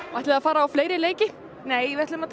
ætliði að fara á fleiri leiki nei við ætlum að